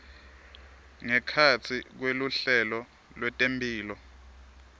ngekhatsi kweluhlelo lwetemphilo